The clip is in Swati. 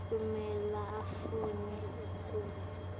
kumele afune futsi